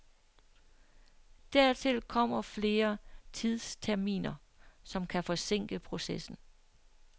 Dertil kommer flere tidsterminer, som kan forsinke processen.